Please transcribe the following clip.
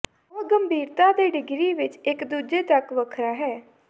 ਉਹ ਗੰਭੀਰਤਾ ਦੇ ਡਿਗਰੀ ਵਿਚ ਇਕ ਦੂਜੇ ਤੱਕ ਵੱਖਰਾ ਹੈ